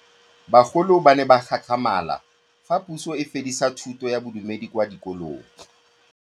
Bagolo ba ne ba gakgamala fa Pusô e fedisa thutô ya Bodumedi kwa dikolong.